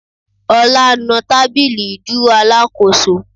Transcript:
Ọlá nu tábìlì ìdúró Alákóso